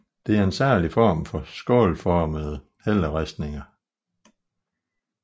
Det er en særlig form for skålformede helleristninger